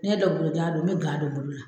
N'i ye duloki bolo jan don n bɛ gan don n bolo la